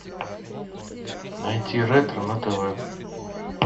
найти ретро на тв